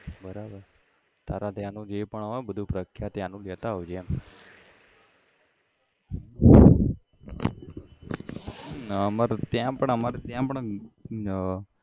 બરાબર તારા ત્યાં નું જે પણ હોય બધું પ્રખ્યાત ત્યાનું લેતા આવજે એમ ના અમારે ત્યાં પણ અમારે ત્યાં પણ અમ